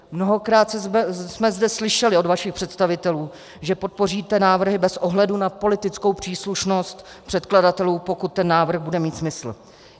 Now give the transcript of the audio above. Mnohokrát jsme zde slyšeli od vašich představitelů, že podpoříte návrhy bez ohledu na politickou příslušnost předkladatelů, pokud ten návrh bude mít smysl.